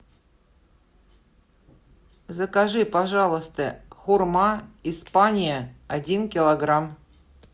закажи пожалуйста хурма испания один килограмм